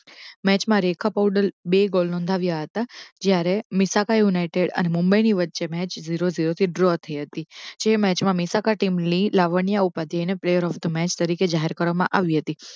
Match માં રેખા પોવળે બે goal નોંધાવ્યા હતા જયારે મેશાખા યુંનાતા એ અને મુંબઈ ની વચ્ચે match જીરો જોરો થી draw થઇ હતી જે match મીશાખા team lead લાવવાની આ ઉપાદી ની player of the match જાહેર કરવામાં આવ્યું હતું